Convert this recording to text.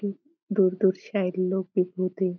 ह दूर दूर से लोक --